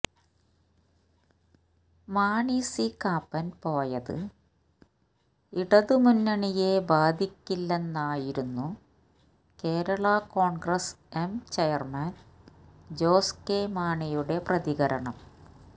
Mani C Kappan പോയത് ഇടത് മുന്നണിയെ ബാധിക്കില്ലെന്നായിരുന്നു Kerala Congress M chairman Jose K മാണിയുടെ പ്രതികരണം